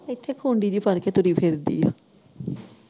ਕਿੱਥੇ ਕੁੰਡੀ ਜਿਹੀ ਫੜ ਕੇ ਤੁਰੀ ਫਿਰਦੀ ਐ।